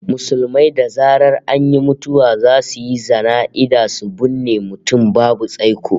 Musulmai da zaran an yi mutuwa zasu yi jana'iza su binne mutum babu tsaiko